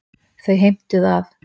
Þau heimtuðu að